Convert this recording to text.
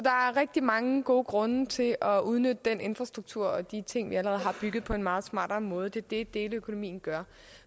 rigtig mange gode grunde til at udnytte den infrastruktur og de ting vi allerede har bygget på en meget smartere måde det er det deleøkonomien gør